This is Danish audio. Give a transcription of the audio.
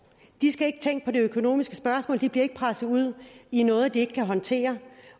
de skal ikke tænke på økonomiske spørgsmål de bliver ikke presset ud i noget de ikke kan håndtere